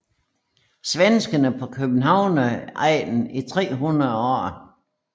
Svenskere på Københavnsegnen i 300 år